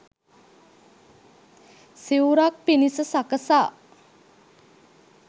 සිවුරක් පිණිස සකසා